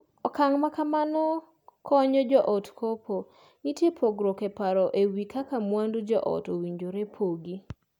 Okang' ma kamano konyo joot kopo nitie pogruok eparo e wii kaka mwandu joot owinjore pogi.